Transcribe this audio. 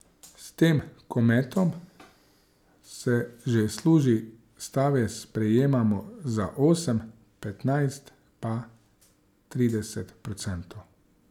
S tem kometom se že služi, stave sprejemamo za osem, petnajst pa trideset procentov.